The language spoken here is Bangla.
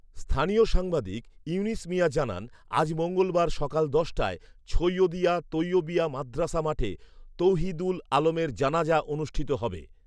স্থানীয় সাংবাদিক ইউনুস মিয়া জানান, আজ মঙ্গলবার সকাল দশটায় ছৈয়দিয়া তৈয়বিয়া মাদ্রাসা মাঠে তৌহিদুল আলমের জানাজা অনুষ্ঠিত হবে